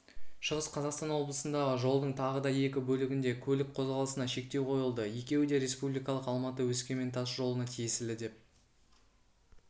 шығыс қазақстан облысындағы жолдың тағы да екі бөлігінде көлік қозғалысына шектеу қойылды екеуі де республикалық алматы өскемен тас жолына тиесілі деп